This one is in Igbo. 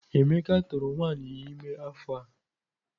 Emeka tụrụ nwunye ya ime afọ a.